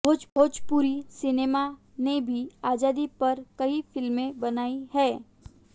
भोजपुरी सिनेमा ने भी आजादी पर कई फिल्में बनाई हैं